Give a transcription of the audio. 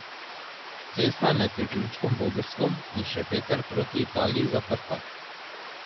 Cesta je med priključkoma Vogrsko in Šempeter proti Italiji zaprta.